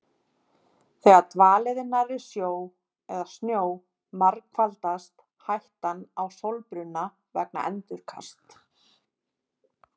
Þegar dvalið er nærri sjó eða snjó margfaldast hættan á sólbruna vegna endurkasts.